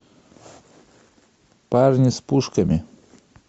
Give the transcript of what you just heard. парни с пушками